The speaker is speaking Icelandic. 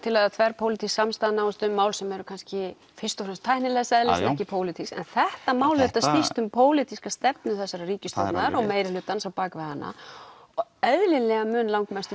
að þverpólitísk samstaða náist um og mál sem eru kannski fyrst og fremst tæknilegs eðlis en ekki pólitísk en þetta mál auðvitað snýst um pólitíska stefnu þessarar ríkisstjórnar og meirihlutans á bak við hana og eðlilega mun langmestur